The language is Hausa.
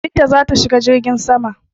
Binta za ta shiga jirgin saman.